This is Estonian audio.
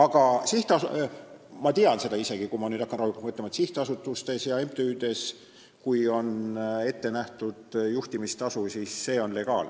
Ma tean seda isegi, võin öelda, kui ma nüüd hakkan rahulikult mõtlema, et sihtasutustes ja MTÜ-des, kui on ette nähtud juhtimistasu, siis see on legaalne.